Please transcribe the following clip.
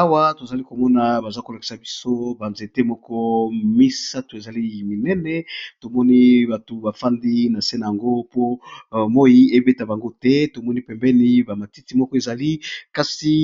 Awa tozali komona baza kolakisa biso banzete moko misato ezali minene, tomoni bato bafandi na se na yango po moi ebeta bango te tomoni pembeni bamatiti moko ezali. kasi